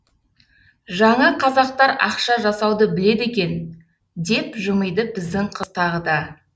жаңа қазақтар ақша жасауды біледі екен деп жымиды біздің қыз тағы да